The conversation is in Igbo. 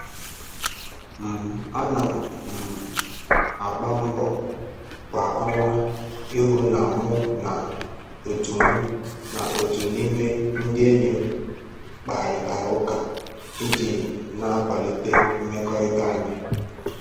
um Ana um m agba mbọ kwa ọnwa ịhụ na mụ na otu mụ na otu n'ime ndị enyi m kparịtara ụka iji na-akwalite mmekọrịta anyị